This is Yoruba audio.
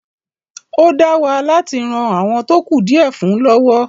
ó dáwà láti ran “àwọn tó kù díẹ̀ fún ” lọ́wọ́.